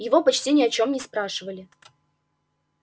его почти ни о чём не спрашивали